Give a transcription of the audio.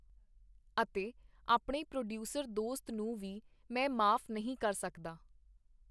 ਅਤੇ ਆਪਣੇ ਪ੍ਰੋਡੀਊਸਰ ਦੋਸਤ ਨੂੰ ਵੀ ਮੈਂ ਮਾਫ ਨਹੀਂ ਕਰ ਸਕਦਾ.